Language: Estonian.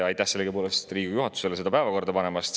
Aitäh sellegipoolest Riigikogu juhatusele, et te selle päevakorda panite!